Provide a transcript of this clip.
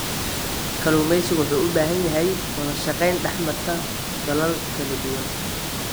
Kalluumeysigu wuxuu u baahan yahay wadashaqeyn dhexmarta dalal kala duwan.